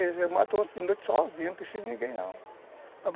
não preciso de ninguém não.